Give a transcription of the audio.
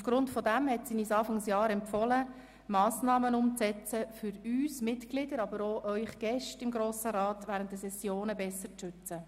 Aufgrund dessen hat sie uns Anfang dieses Jahres empfohlen, Massnahmen umzusetzen, um uns Ratsmitglieder, aber auch unsere Gäste im Grossen Rat während der Sessionen besser zu schützen.